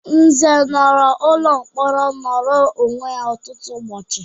Nze nọrọ n'ụlọ mkpọrọ nnoro onwe ọtụtụ ụbọchị.